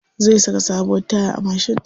Zai saka sabuwar taya a mashin ɗin sa.